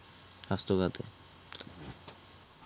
স্বাস্থ্যখাতে